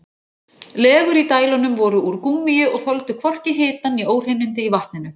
Legur í dælunum voru úr gúmmíi og þoldu hvorki hitann né óhreinindi í vatninu.